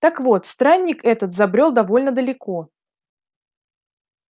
так вот странник этот забрёл довольно далеко